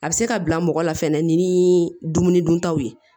A bɛ se ka bila mɔgɔ la fɛnɛ ni dumuni duntaw ye